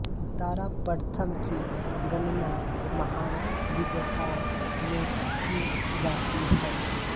दारा प्रथम की गणना महान विजेताओं में की जाती है